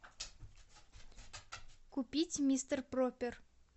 купить мистер пропер